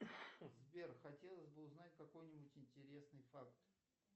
сбер хотелось бы узнать какой нибудь интересный факт